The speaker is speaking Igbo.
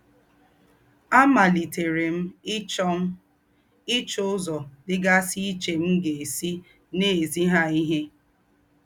Àmálìtèrè m íchọ́ m íchọ́ úzọ́ dí́gásí íché m̀ gà-èsí nà-èzí hà íhé.